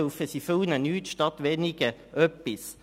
Dann helfen sie vielen nichts, statt wenigen etwas.